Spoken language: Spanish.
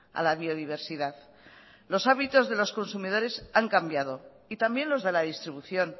a la biodiversidad los hábitos de los consumidores han cambiado y también los de la distribución